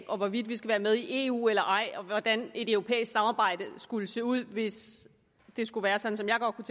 om hvorvidt vi skal være med i eu eller ej og hvordan et europæisk samarbejde skulle se ud hvis det skulle være sådan som jeg godt kunne